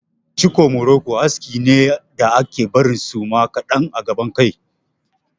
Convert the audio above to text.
Ciko muroko aski ne da ake barin suma kaɗan a gaban kai.